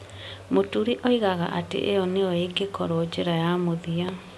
Mũturi oigaga atĩ ĩyo nĩyo ĩngĩkorũo njĩra ya mũthia.